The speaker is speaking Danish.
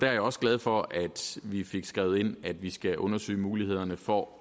er også glad for at vi fik skrevet ind at vi skal undersøge mulighederne for